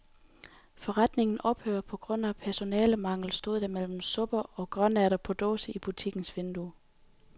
Forretningen ophører på grund af personalemangel, stod der mellem supper og grønærter på dåse i butikkens vindue.